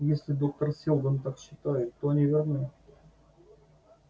если доктор сэлдон так считает то они верны